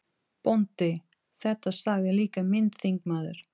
BÓNDI: Þetta sagði líka minn þingmaður